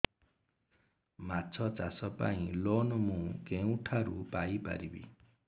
ମାଛ ଚାଷ ପାଇଁ ଲୋନ୍ ମୁଁ କେଉଁଠାରୁ ପାଇପାରିବି